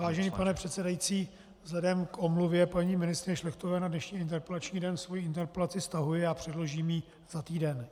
Vážený pane předsedající, vzhledem k omluvě paní ministryně Šlechtové na dnešní interpelační den svoji interpelaci stahuji a předložím ji za týden.